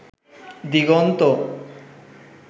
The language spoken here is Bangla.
দিগন্ত